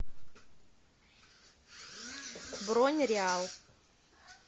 бронь реал